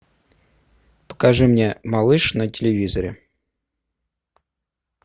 покажи мне малыш на телевизоре